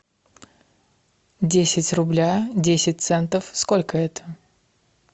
десять рубля десять центов сколько это